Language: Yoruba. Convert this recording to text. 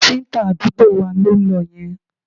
Káfíńtà àdúgbò wa ló ń lọ yẹn